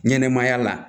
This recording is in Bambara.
Ɲɛnɛmaya la